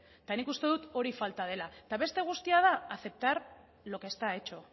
nik uste dut hori falta dela eta beste guztia da aceptar lo que está hecho